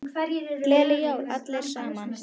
Nóa, hvernig er veðrið í dag?